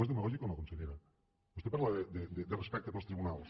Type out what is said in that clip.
és demagògic o no consellera vostè parla de respecte pels tribunals